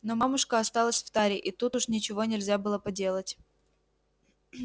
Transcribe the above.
но мамушка осталась в таре и тут уж ничего нельзя было поделать